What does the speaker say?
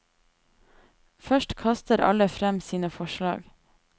Først kaster alle frem sine forslag.